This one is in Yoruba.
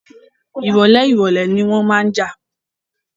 Ìrọ̀lẹ́ ìrọ̀lẹ́ ni wọ́n máa ń jà